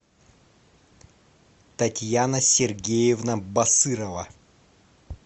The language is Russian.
татьяна сергеевна басырова